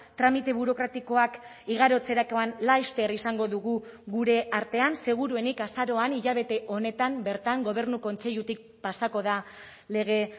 tramite burokratikoak igarotzerakoan laster izango dugu gure artean seguruenik azaroan hilabete honetan bertan gobernu kontseilutik pasako da lege